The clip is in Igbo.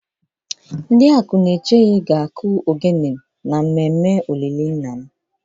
Ndi Akunechenyi ga akụ ogene na mmemme olili nna m